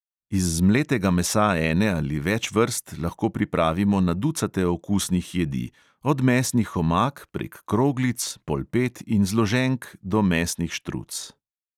Iz zmletega mesa ene ali več vrst lahko pripravimo na ducate okusnih jedi, od mesnih omak prek kroglic, polpet in zloženk do mesnih štruc.